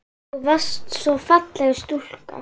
Þú varst svo falleg stúlka.